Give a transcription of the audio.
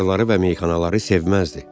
Barları və meyxanaları sevməzdi.